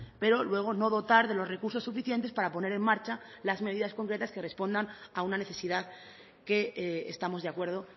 pero luego no dotar de los recursos suficientes para poner en marcha las medidas concretas que respondan a una necesidad que estamos de acuerdo